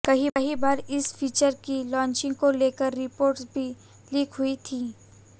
कई बार इस फीचर की लॉन्चिंग को लेकर रिपोर्ट्स भी लीक हुई थी